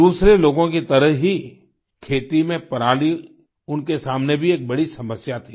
दूसरे लोगों की तरह ही खेती में पराली उनके सामने भी एक बड़ी समस्या थी